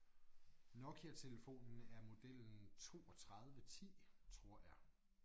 Nokia-telefonen er modellen 32 10 tror jeg